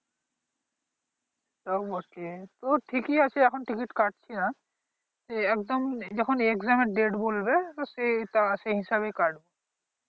তাও বটে তো ঠিকই আছে এখন ticket কাটছি না যখন একদম exam date বলবে তো সেই হিসাবে কাটবো